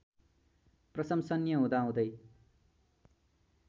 प्रशंसनीय हुँदा हुँदै